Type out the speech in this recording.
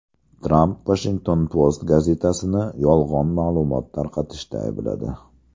Tramp Washington Post gazetasini yolg‘on ma’lumot tarqatishda aybladi.